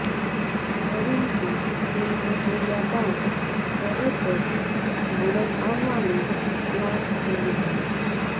પરંતુ ફિલ્મ જોયા બાદ તરત જ ભારત આવવાનો પ્લાન બનાવ્યો